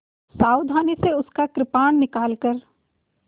सावधानी से उसका कृपाण निकालकर